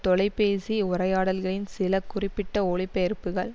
தொலைபேசி உரையாடல்களின் சில குறிப்பிட்ட ஒலிபெயர்ப்புகள்